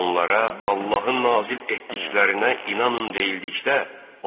Onlara Allahın nazil etdiklərinə inanın deyildikdə,